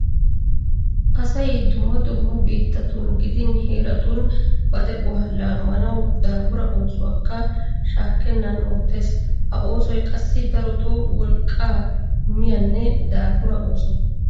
Asay dumma dumma biittatun gidin heeratun ba de'uwa laammanawu daafura oosuwakka shaakkennan oottees. Ha oosoy qassi darotoo wolqqaa miyanne daafura ooso.